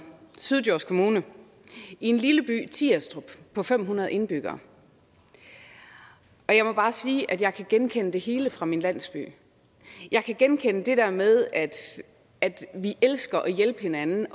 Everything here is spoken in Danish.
syddjurs kommuner i en lille by tirstrup på fem hundrede indbyggere og jeg må bare sige at jeg kan genkende det hele fra min landsby jeg kan genkende det der med at vi elsker at hjælpe hinanden